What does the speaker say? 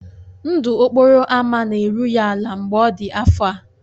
Ndụ okporo ámá na-eru ya ala mgbe ọ dị afọ a.